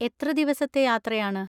എത്ര ദിവസത്തെ യാത്രയാണ്.